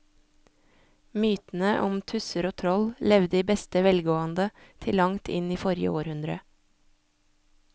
Mytene om tusser og troll levde i beste velgående til langt inn i forrige århundre.